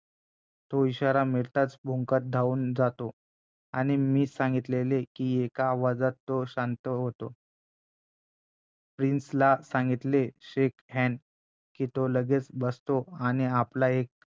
तो इशारा मिळताचं भुंकत धावून जातो आणि मी सांगितले की एका आवाजात तो शांत होतो प्रिन्सला सांगितले shake hand की तो लगेच बसतो आणि आपला एक